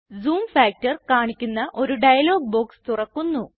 zoom factor കാണിക്കുന്ന ഒരു dialog box തുറക്കുന്നു